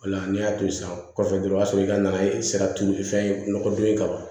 O la n'i y'a to yen sisan kɔfɛ dɔrɔn o y'a sɔrɔ i ka na ye sira turu fɛn nɔgɔ don ye ka ban